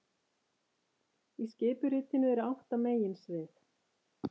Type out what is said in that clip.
Í skipuritinu eru átta meginsvið